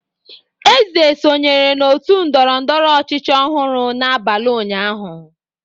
Eze sonyere n'otu ndọrọndọrọ ọchịchị ọhụrụ n'abalị ụnyaahụ.